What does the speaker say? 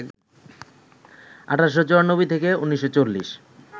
১৮৯৪-১৯৪০